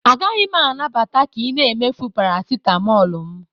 Agaghị m anabata ka ị na-emefu parasitamol m